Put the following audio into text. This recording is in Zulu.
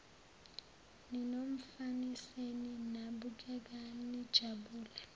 ninomfaniseni nabukeka nijabule